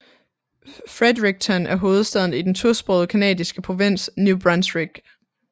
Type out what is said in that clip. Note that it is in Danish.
Fredericton er hovedstaden i den tosprogede canadiske provins New Brunswick